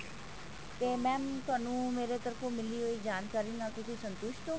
ਤੇ mam ਤੁਹਾਨੂੰ ਮੇਰੇ ਤਰਫ਼ ਤੋਂ ਮਿਲੀ ਜਾਣਕਾਰੀ ਨਾਲ ਤੁਸੀਂ ਸੰਤੁਸ਼ਟ ਹੋ